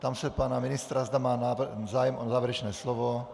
Ptám se pana ministra, zda má zájem o závěrečné slovo.